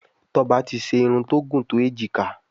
Toba tí ṣe Irun tó gún to ejika.